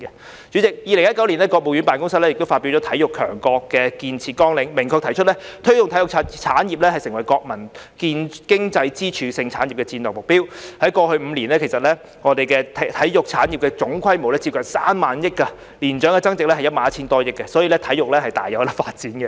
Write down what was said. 代理主席 ，2019 年國務院辦公廳發表了《體育強國建設綱要》，明確提出"推動體育產業成為國民經濟支柱性產業"的戰略目標，在過去5年間，其實我們體育產業的總規模是接近3萬億元，年增長額為 11,000 多億元，可見體育大有發展空間。